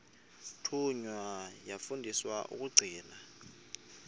thunywa yafundiswa ukugcina